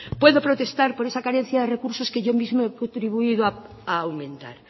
puede protestar por esa carencia de recursos que yo mismo he contribuido a aumentar